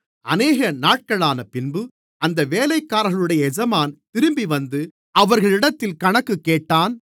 அநேக நாட்களானபின்பு அந்த வேலைக்காரர்களுடைய எஜமான் திரும்பிவந்து அவர்களிடத்தில் கணக்குக் கேட்டான்